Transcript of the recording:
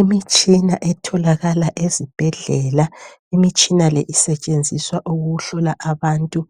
Imitshina etholakala ezibhedlela. Imitshina le isetshenziswa ukuhlola abantu